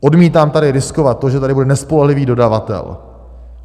Odmítám tady riskovat to, že tady bude nespolehlivý dodavatel.